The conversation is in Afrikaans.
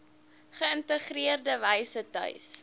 geïntegreerde wyse tuis